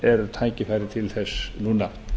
er tækifærið til þess núna